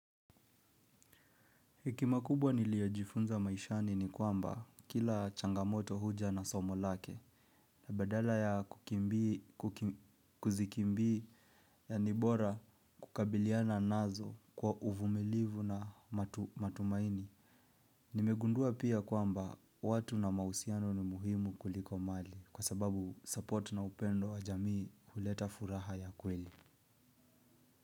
Hekima kubwa niliyojifunza maishani ni kwamba kila changamoto huja na somo lake. Na baadala ya kuzikimbia ni bora kukabiliana nazo kwa uvumilivu na matumaini. Nimegundua pia kwamba watu na mahusiano ni muhimu kuliko mali kwa sababu support na upendo wa jamii huleta furaha ya kweli.